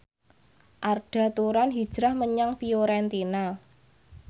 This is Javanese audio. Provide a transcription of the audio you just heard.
Arda Turan hijrah menyang Fiorentina